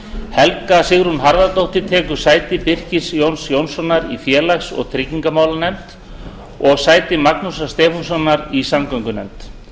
helga sigrún harðardóttir tekur sæti birkis jóns jónssonar í félags og trygginganefnd og sæti magnúsar stefánssonar í samgöngunefnd